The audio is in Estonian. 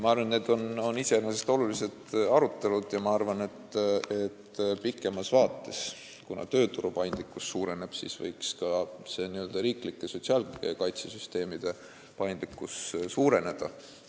Ma arvan, et need on iseenesest olulised arutelud, ja ma arvan, et pikemas vaates, kuna tööturu paindlikkus suureneb, võiks ka riiklike sotsiaalkaitsesüsteemide paindlikkus suureneda.